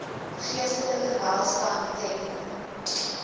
geestelike welstand ten